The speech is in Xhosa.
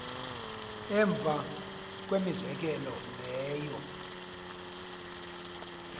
emva kwemizekelo leyo